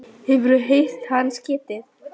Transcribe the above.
Hefurðu heyrt hans getið?